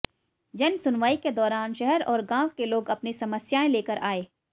जनसुनवाई के दौरान शहर और गांव के लोग अपनी समस्याएं लेकर आए